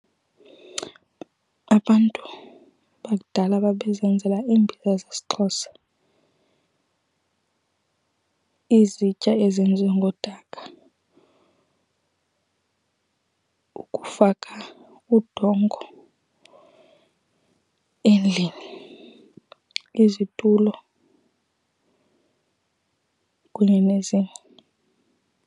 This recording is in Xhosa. Abantu bakudala babezenzela iimbiza zesiXhosa, izitya ezenziwe ngodaka, ukufaka udongo endlini, izitulo kunye nezinye.